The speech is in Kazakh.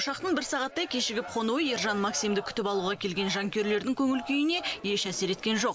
ұшақтың бір сағаттай кешігіп қонуы ержан максимді күтіп алуға келген жанкүйерлердің көңіл күйіне еш әсер еткен жоқ